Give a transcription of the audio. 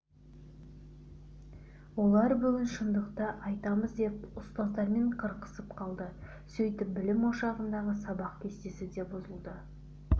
олар бүгін шындықты айтамыз деп ұстаздармен қырқысып қалды сөйтіп білім ошағындағы сабақ кестесі де бұзылды